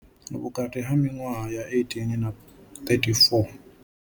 Vhukati ha miṅwaha ya 18 na 34.